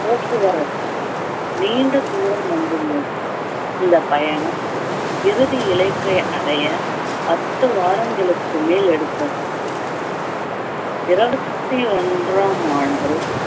போக்குவரத்தும் நீண்ட தூரம் வந்துள்ளது இந்த பயணம் இறுதி இலக்கை அடைய பத்து வாரங்களுக்கு மேல் எடுத்தது இருபத்தி ஒன்றாம் ஆண்டு